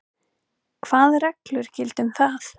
Hvað reglur gilda um það?